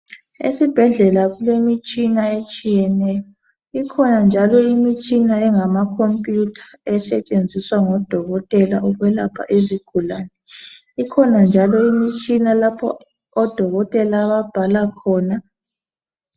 Esibhedlela kulemitshina etshiyeneyo ikhona njalo imitshina engamakhomputha esetshenziswa ngodokotela ukwelapha izigulane, iIkhona njalo imitshina lapho odokotela ababhalakhona.